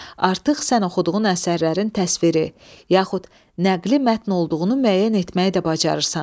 Artıq sən oxuduğun əsərlərin təsviri, yaxud nəqli mətn olduğunu müəyyən etməyi də bacarırsan.